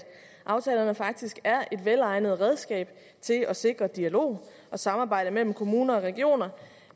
aftalerne faktisk er et velegnet redskab til at sikre dialog og samarbejde mellem kommuner og regioner